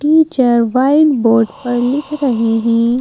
Teacher white board पर लिख रही हैं।